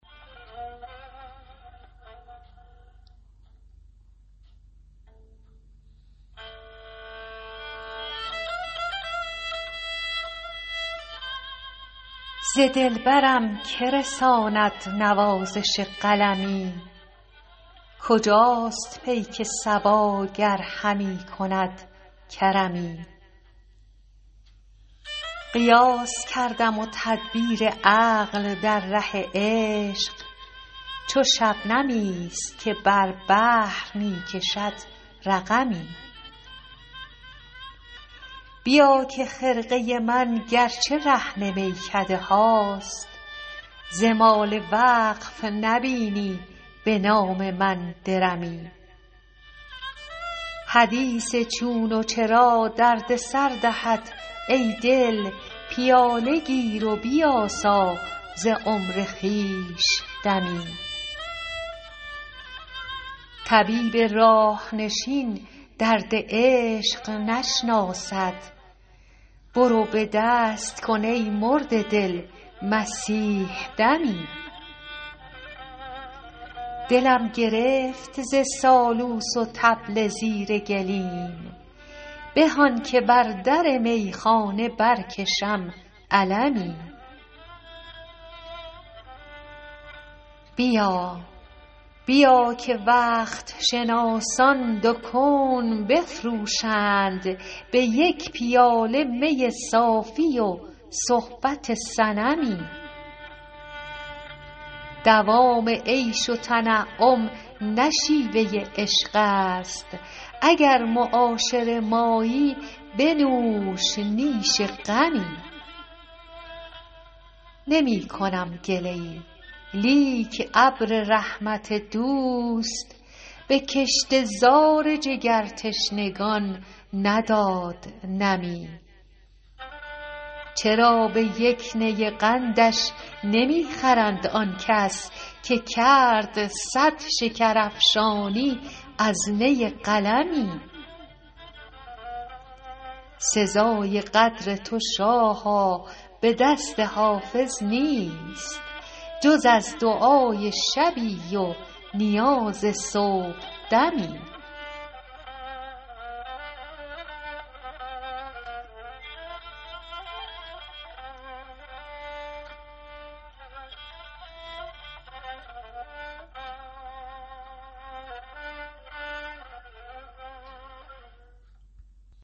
ز دلبرم که رساند نوازش قلمی کجاست پیک صبا گر همی کند کرمی قیاس کردم و تدبیر عقل در ره عشق چو شبنمی است که بر بحر می کشد رقمی بیا که خرقه من گر چه رهن میکده هاست ز مال وقف نبینی به نام من درمی حدیث چون و چرا درد سر دهد ای دل پیاله گیر و بیاسا ز عمر خویش دمی طبیب راه نشین درد عشق نشناسد برو به دست کن ای مرده دل مسیح دمی دلم گرفت ز سالوس و طبل زیر گلیم به آن که بر در میخانه برکشم علمی بیا که وقت شناسان دو کون بفروشند به یک پیاله می صاف و صحبت صنمی دوام عیش و تنعم نه شیوه عشق است اگر معاشر مایی بنوش نیش غمی نمی کنم گله ای لیک ابر رحمت دوست به کشته زار جگرتشنگان نداد نمی چرا به یک نی قندش نمی خرند آن کس که کرد صد شکرافشانی از نی قلمی سزای قدر تو شاها به دست حافظ نیست جز از دعای شبی و نیاز صبحدمی